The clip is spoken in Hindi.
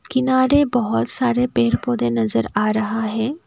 किनारे बहोत सारे पेड़ पौधे नजर आ रहा हैं।